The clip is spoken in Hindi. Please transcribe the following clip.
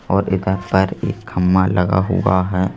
और इधर पर एक खम्मा लगा हुआ है।